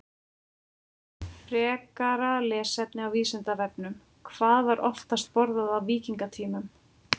Frekara lesefni á Vísindavefnum: Hvað var oftast borðað á víkingatímanum?